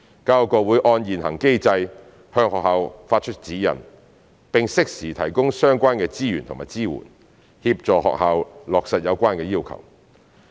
教育局會按現行機制，向學校發出指引，並適時提供相關資源和支援，協助學校落實有關要求。